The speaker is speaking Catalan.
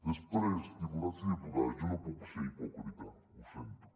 després diputats i diputades jo no puc ser hipòcrita ho sento